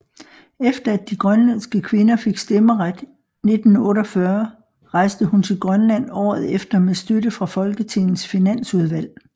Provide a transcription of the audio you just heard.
Efter at de grønlandske kvinder fik stemmeret 1948 rejste hun til Grønland året efter med støtte fra Folketingets finansudvalg